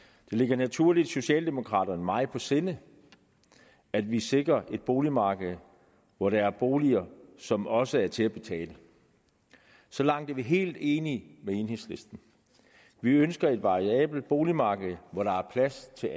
det ligger naturligvis socialdemokraterne meget på sinde at vi sikrer et boligmarked hvor der er boliger som også er til at betale så langt er vi helt enige med enhedslisten vi ønsker et variabelt boligmarked hvor der er plads til